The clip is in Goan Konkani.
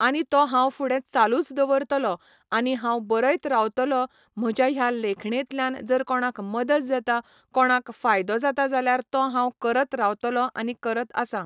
आनी तो हांव फुडें चालूच दवरतलों आनी हांव बरयत रावतलों म्हज्या ह्या लेखणेंतल्यान जर कोणाक मदत जाता, कोणाक फायदो जाता जाल्यार तो हांव करत रावतलों आनी करत आसां.